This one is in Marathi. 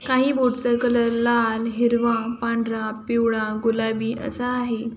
काही बोट चा कलर लाल हिरवा पांढरा पिवळा गुलाबी असा आहे.